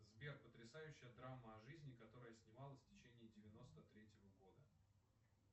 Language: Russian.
сбер потрясающая драма о жизни которая снималась в течении девяносто третьего года